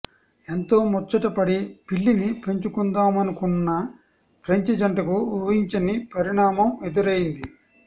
ఎంతో ముచ్చట పడి పిల్లిని పెంచుకుందామనుకున్న ఫ్రెంచ్ జంటకు ఊహించని పరిణామం ఎదురైంది